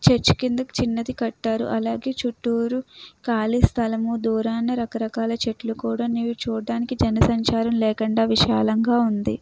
Church కి ఎందుకు చిన్నది కట్టారు. అలాగే చుట్టూరు కాలి స్థలము దూరాన రకరకాల చెట్లు కూడా నీవు చూడడానికి జనసంచారం లేకుండా విశాలంగా ఉంది.